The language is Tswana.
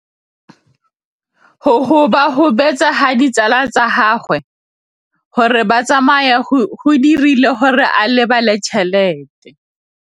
Go gobagobetsa ga ditsala tsa gagwe, gore ba tsamaye go dirile gore a lebale tšhelete.